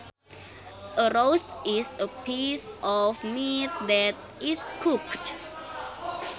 A roast is a piece of meat that is cooked